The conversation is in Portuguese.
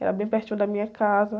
Era bem pertinho da minha casa.